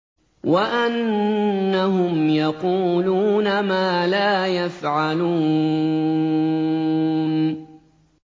وَأَنَّهُمْ يَقُولُونَ مَا لَا يَفْعَلُونَ